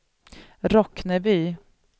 Rockneby